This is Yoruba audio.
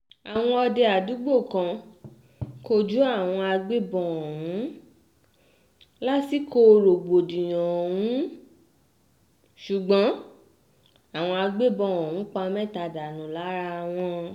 àwọn òde àdúgbò kan kojú àwọn agbébọn ọ̀hún lásìkò rògbòdìyàn ọ̀hún ṣùgbọ́n àwọn agbébọn ọ̀hún pa mẹ́ta dànù lára wọn